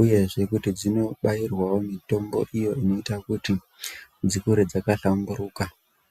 uyezve kuti dzinobairwawo mitombo iyo inoita kuti dzikure dzakahlamburuka.